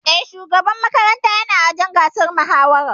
E, shugaban makaranta yana wajen gasar mahawarar.